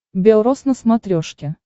белрос на смотрешке